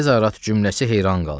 Hazarat cümləsi heyran qaldılar.